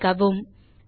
இப்போதைக்கு அவ்வளவே